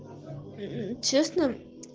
честно